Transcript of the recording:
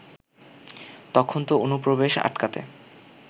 তখন তো অনুপ্রবেশ আটকাতে